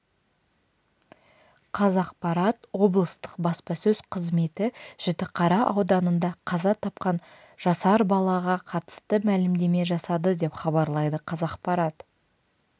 қазақпарат облыстық баспасөз қызметі жітіқара ауданында қаза тапқан жасар балаға қатысты мәлімдеме жасады деп хабарлайды қазақпарат